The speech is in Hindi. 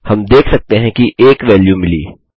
हम देख सकते हैं कि एक वैल्यू मिली